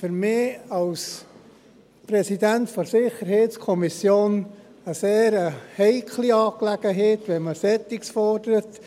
Für mich als Präsident der SiK ist es eine sehr heikle Angelegenheit, wenn man so etwas fordert.